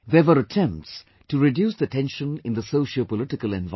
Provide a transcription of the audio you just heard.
There were attempts to reduce the tension in the sociopolitical environment